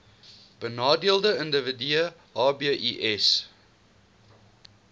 benadeelde individue hbis